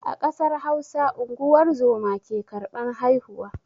A ƙasar Hausa unguwar zoma ke karban haihuwa.